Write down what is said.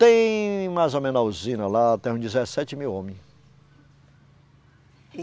Tem mais ou menos uma usina lá, tem uns dezessete mil homem.